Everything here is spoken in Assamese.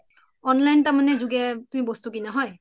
online তাৰমানে জুগে তুমি বস্তু কিনা হয়